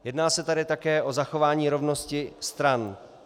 Jedná se tady také o zachování rovnosti stran.